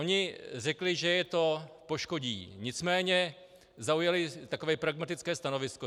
Oni řekli, že je to poškodí, nicméně zaujali takové pragmatické stanovisko.